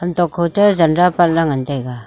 hanto khote janda pat lah ley ngan tai ga.